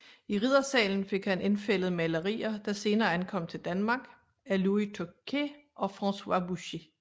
I riddersalen fik han indfældet malerier der senere ankom til Danmark af Louis Tocqué og François Boucher